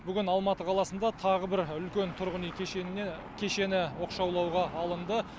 бүгін алматы қаласында тағы бір үлкен тұрғын үй кешеніне кешені оқшаулауға алынды